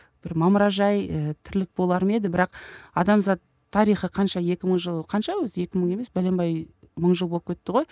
бір мамыражай і тірлік болар ма еді бірақ адамзат тарихы қанша екі мың жыл қанша өзі екі мың емес бәленбай мың жыл болып кетті ғой